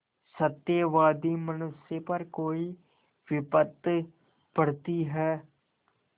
सत्यवादी मनुष्य पर कोई विपत्त पड़ती हैं